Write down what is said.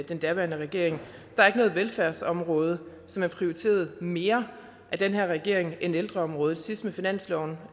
den daværende regering er ikke noget velfærdsområde som er prioriteret mere af den her regering end ældreområdet sidst med finansloven